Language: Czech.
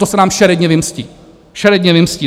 To se nám šeredně vymstí, šeredně vymstí!